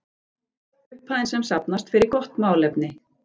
Upphæðin sem safnast fer í gott málefni.